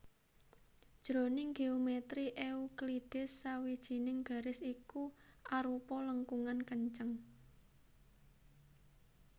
Jroning géomètri Euklides sawijining garis iku arupa lengkungan kenceng